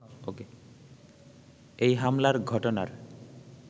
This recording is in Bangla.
এ হামলার ঘটনার